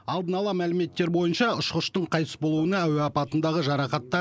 алдын ала мәліметтер бойынша ұшқыштың қайтыс болуына әуе апатындағы жарақаттар